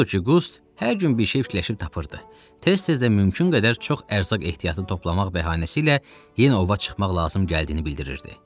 Odur ki, Qust hər gün bir şey fikirləşib tapırdı, tez-tez də mümkün qədər çox ərzaq ehtiyatı toplamaq bəhanəsi ilə yenə ova çıxmaq lazım gəldiyini bildirirdi.